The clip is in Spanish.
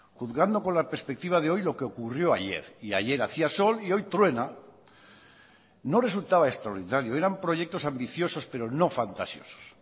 juzgando con la perspectiva de hoy lo que ocurrió ayer y ayer hacía sol y hoy truena no resultaba extraordinario eran proyectos ambiciosos pero no fantasiosos